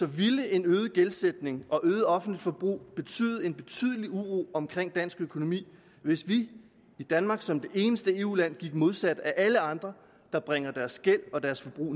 ville en øget gældsætning og øget offentligt forbrug betyde betydelig uro omkring dansk økonomi hvis vi i danmark som det eneste eu land gik modsat af alle andre der bringer deres gæld og deres forbrug